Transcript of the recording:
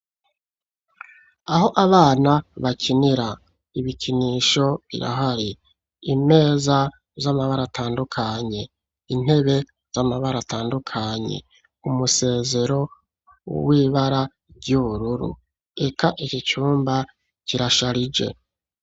Aho abana bakinira, ibikinisho birahari. Imeza z'amabara atandukanye. Intebe z'amabara atandukanye. Umusezero w'ibara ry'ubururu, eka iki cumba kirasharije.